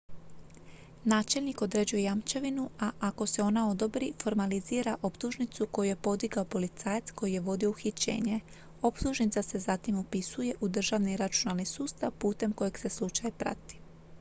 načelnik određuje jamčevinu a ako se ona odobri formalizira optužnicu koju je podigao policajac koji je vodio uhićenje optužnica se zatim upisuje u državni računalni sustav putem kojeg se slučaj prati